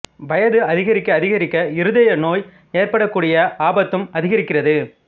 வயது அதிகரிக்க அதிகரிக்க இருதயநோய் ஏற்படக் கூடிய ஆபத்தும் அதிகரிக்கிறது